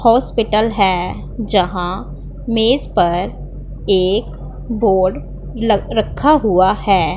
Hospital हैं जहां मेज पर एक बोर्ड लग रखा हुआ हैं।